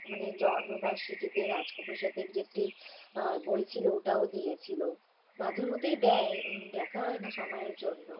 জন্ম বার্ষিকীতে রাজ সাথের একটা বই ছিল ওটাও দিয়েছিলো মাঝেমধ্যেই দেয় দেখা হয়না সময়ের জন্য।